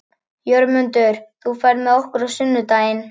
Jörmundur, ferð þú með okkur á sunnudaginn?